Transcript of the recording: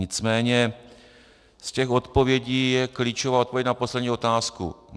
Nicméně z těch odpovědí je klíčová odpověď na poslední otázku.